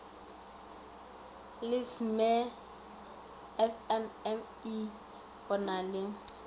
la smme go na le